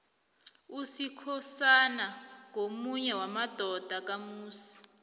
usikhosana ngomunye wamadodana kamusi